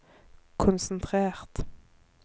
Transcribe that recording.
konsentrert